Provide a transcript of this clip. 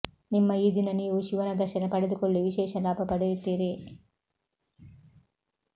ನಿಮ್ಮ ಈ ದಿನ ನೀವು ಶಿವನ ದರ್ಶನ ಪಡೆದುಕೊಳ್ಳಿ ವಿಶೇಷ ಲಾಭ ಪಡೆಯುತ್ತೀರಿ